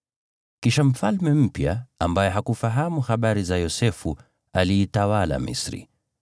Kisha mfalme mpya ambaye hakufahamu habari za Yosefu akatawala Misri.